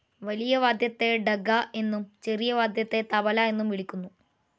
വലിയ വാദ്യത്തെ ഡഗ്ഗ എന്നും ചെറിയ വാദ്യത്തെ തബ്ല എന്നും വിളിക്കുന്നു.